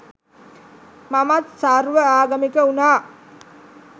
මමත් සර්ව ආගමික උනා.